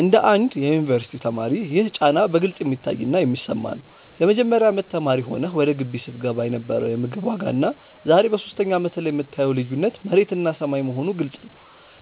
እንደ አንድ የዩኒቨርሲቲ ተማሪ ይህ ጫና በግልጽ የሚታይና የሚሰማ ነው። የመጀመሪያ አመት ተማሪ ሆነህ ወደ ግቢ ስትገባ የነበረው የምግብ ዋጋና ዛሬ በሶስተኛ አመትህ ላይ የምታየው ልዩነት መሬትና ሰማይ መሆኑ ግልጽ ነው።